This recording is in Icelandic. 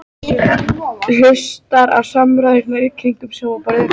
Hlustar á samræðurnar í kringum sófaborðið.